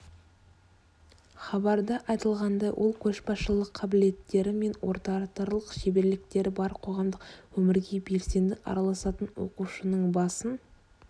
хабарда айтылғандай ол көшбасшылық қабілеттері мен ораторлық шеберліктері бар қоғамдық өмірге белсенді араласатын оқушының басын